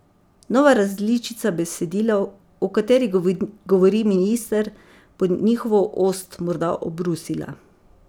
Nova različica besedila, o kateri govori minister, bo njihovo ost morda obrusila.